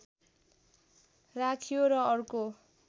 राखियो र अर्को